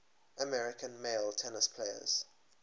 american male tennis players